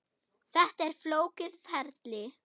Þetta er flókið ferli.